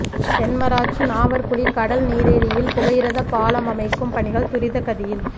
தென்மராட்சி நாவற்குழி கடல் நீரேரியில் புகையிரதப் பாலம் அமைக்கும் பணிகள் துரித கதியில்